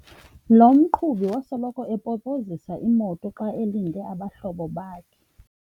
Lo mqhubi wasoloko epopozisa imoto xa elinde abahlobo bakhe.